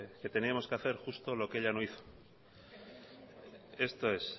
que teníamos que hacer justo lo que ella no hizo esto es